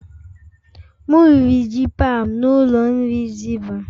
M riri ji paụnd n'ụlọ nri zibah.